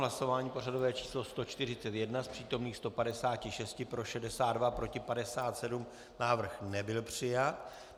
Hlasování pořadové číslo 141, z přítomných 156 pro 62, proti 57, návrh nebyl přijat.